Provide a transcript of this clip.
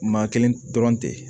Maa kelen dɔrɔn tɛ